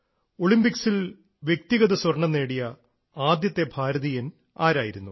ഒളിമ്പിക്സിൽ വ്യക്തിഗത സ്വർണ്ണം നേടിയ ആദ്യത്തെ ഭാരതീയൻ ആരായിരുന്നു